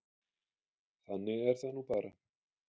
Þannig er það nú bara.